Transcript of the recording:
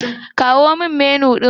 Kawo min Menu ɗin.